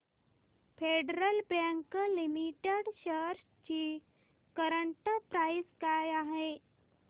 federal bank limited shares ची current price काय आहे